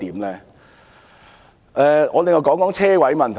另外，我談談泊車位的問題。